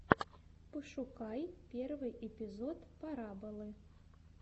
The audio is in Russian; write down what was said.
пошукай первый эпизод пораболы